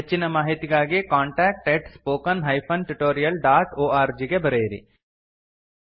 ಹೆಚ್ಚಿನ ಮಾಹಿತಿಗಾಗಿ contact at spoken hyphen tutorial dot org ಗೆ ಬರೆಯಿರಿ